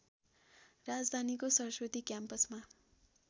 राजधानीको सरस्वती क्याम्पसमा